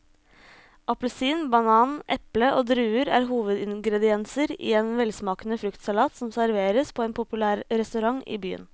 Appelsin, banan, eple og druer er hovedingredienser i en velsmakende fruktsalat som serveres på en populær restaurant i byen.